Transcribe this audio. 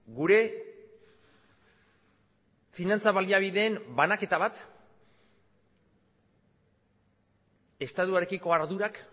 gure finantza baliabideen banaketa bat estatuarekiko ardurak